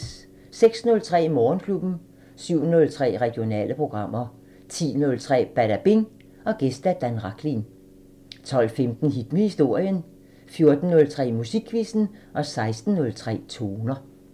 06:03: Morgenklubben 07:03: Regionale programmer 10:03: Badabing: Gæst Dan Rachlin 12:15: Hit med historien 14:03: Musikquizzen 16:03: Toner